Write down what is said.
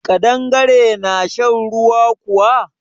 Ƙadangare na shan ruwa kuwa?